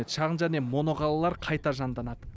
шағын және моноқалалар қайта жанданады